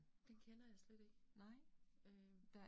Den kender jeg slet ikke, øh